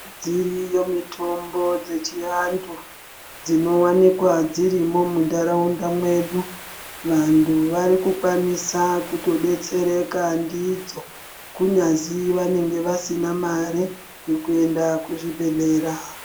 Dziriyo mitombo dzechiantu dzinowanikwa dzirimo muntharaunda mwedu. Vantu vari kukwanisa kutodetsereka ndidzo kunyazi vanenge vasina mare yekuenda kuzvibhedhlera.